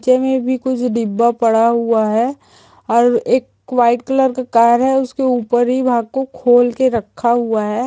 मे भी कुछ डिब्बा पड़ा हुआ है और एक वाइट कलर का कार है उसके ऊपर ही वहा को खोल कर रखा हुआ है।